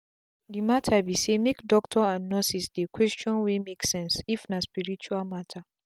the matter be saymake doctors and nurses dey questions wey make sense if na spirtual matter.